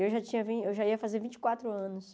Eu já tinha vindo, eu já ia fazer vinte e quatro anos